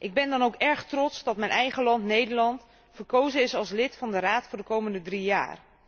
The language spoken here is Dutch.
Ik ben dan ook erg trots dat mijn eigen land, Nederland, verkozen is als lid van de raad voor de komende drie jaar.